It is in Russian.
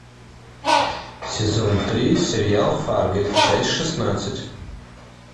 сезон три сериал фарго часть шестнадцать